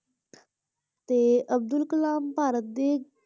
ਤੇ ਅਬਦੁਲ ਕਲਾਮ ਭਾਰਤ ਦੇ,